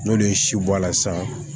N'olu ye si bɔ a la sisan